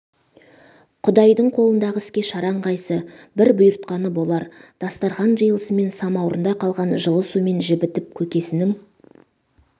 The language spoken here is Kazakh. құдайдың қолындағы іске шараң қайсы бір бұйыртқаны болар дастархан жиылысымен самаурында қалған жылы сумен жібітіп көкесінің